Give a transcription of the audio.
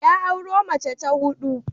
Ya auro mace ta hudu.